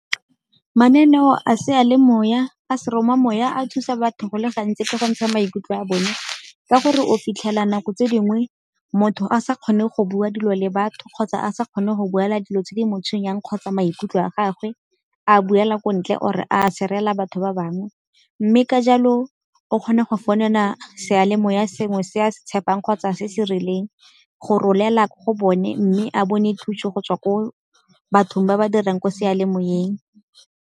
Mananeo a sealemoya, a seromamoya a thusa batho go le gantsi ke go ntsha maikutlo a bone, ka gore o fitlhela nako tse dingwe motho a sa kgone go bua dilo le batho kgotsa a sa kgone go buela dilo tse di mo tshwenyang kgotsa maikutlo a gagwe. A a buela ko ntle or-e a share-rela batho ba bangwe. Mme ka jalo o kgone go founela seyalemoya sengwe se a se tshepang kgotsa se se rileng, go rolela ko go bone mme a bone thuso go tswa ko batho ba ba dirang ko sealemoyeng.